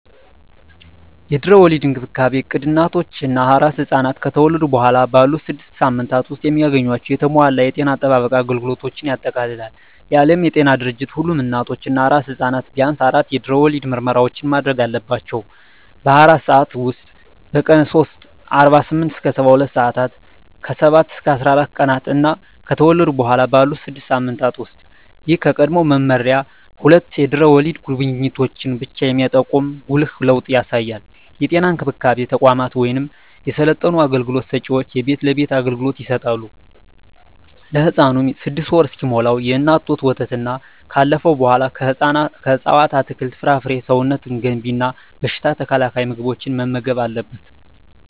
የድህረ ወሊድ እንክብካቤ እቅድ እናቶች እና አራስ ሕፃናት ከተወለዱ በኋላ ባሉት ስድስት ሳምንታት ውስጥ የሚያገኟቸውን የተሟላ የጤና አጠባበቅ አገልግሎቶችን ያጠቃልላል። የዓለም ጤና ድርጅት ሁሉም እናቶች እና አራስ ሕፃናት ቢያንስ አራት የድህረ ወሊድ ምርመራዎችን ማድረግ አለባቸው - በ24 ሰዓት ውስጥ፣ በቀን 3 (48-72 ሰአታት)፣ ከ7-14 ቀናት እና ከተወለዱ በኋላ ባሉት 6 ሳምንታት ውስጥ። ይህ ከቀድሞው መመሪያ ሁለት የድህረ ወሊድ ጉብኝቶችን ብቻ የሚጠቁም ጉልህ ለውጥ ያሳያል። የጤና እንክብካቤ ተቋማት ወይም የሰለጠኑ አገልግሎት ሰጭዎች የቤት ለቤት አገልግሎት ይሰጣሉ። ለህፃኑም 6ወር እስኪሞላው የእናት ጡት ወተትና ካለፈው በኃላ ከእፅዋት አትክልት፣ ፍራፍሬ ሰውነት ገንቢ እና በሽታ ተከላካይ ምግቦችን መመገብ አለብን